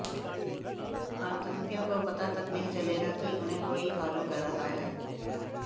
आतंकियों को पता तक नहीं चलेगा कि उन्हें कोई फॉलो कर रहा है